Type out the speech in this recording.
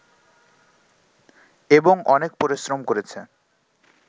এবং অনেক পরিশ্রম করেছে